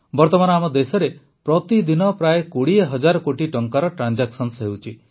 ବର୍ତ୍ତମାନ ଆମ ଦେଶରେ ପ୍ରତିଦିନ ପ୍ରାୟ ୨୦ ହଜାର କୋଟି ଟଙ୍କାର ଟ୍ରାନଜାକ୍ସନ ହେଉଛି